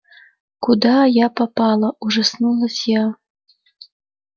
куда я попала ужаснулась я